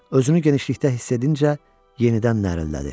Özünü genişlikdə hiss edincə yenidən nərəllədi.